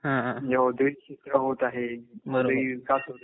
होत आहे